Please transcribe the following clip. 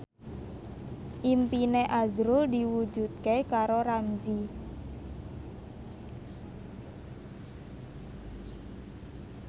impine azrul diwujudke karo Ramzy